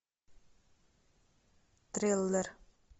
триллер